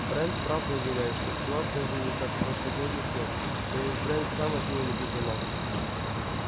брент правда уверяет что стюарт нужен ей как прошлогодний снег но ведь брент сам от неё не без ума